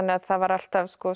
það var alltaf